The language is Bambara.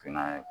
Finan ye